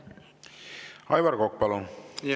Aivar Kokk, palun!